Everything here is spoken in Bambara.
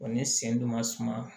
ni sen don ma suma